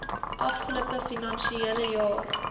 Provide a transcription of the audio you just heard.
afgelope finansiële jaar